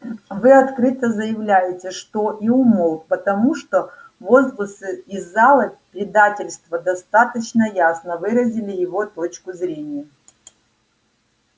вы открыто заявляете что и умолк потому что возгласы из зала предательство достаточно ясно выразили его точку зрения